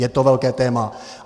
Je to velké téma.